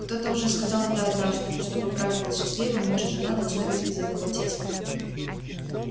кто-то уже сказал это однажды чтобы брак был счастливым муж и жена должны быть из одного теста